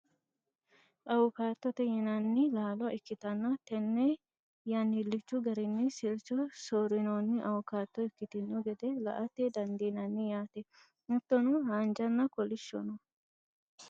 awukaatote yinanni laalo ikkitanna tenne yannilichu garinni sircho soorinoonni awukaato ikkitino gede la'ate dandiinanni yaate, hattono haanjanna kolishsho no .